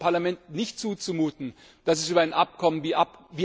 Es ist dem Parlament nicht zuzumuten, dass es über ein Abkommen wie